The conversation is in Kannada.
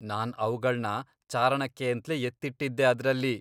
ನಾನ್ ಅವ್ಗಳ್ನ ಚಾರಣಕ್ಕೇಂತ್ಲೇ ಎತ್ತಿಟ್ಟಿದ್ದೆ ಅದ್ರಲ್ಲಿ.